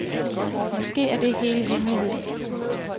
Måske er det hele hemmeligheden.